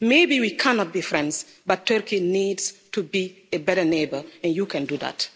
Maybe we cannot be friends, but Turkey needs to be a better neighbour and you can do that.